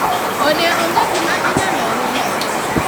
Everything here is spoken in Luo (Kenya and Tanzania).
ode onge gi gima inyalo us